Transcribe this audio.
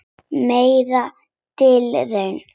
Merk tilraun